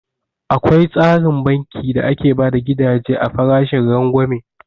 Akwai tsarin banki da ake bada gidaje a farashin rangwame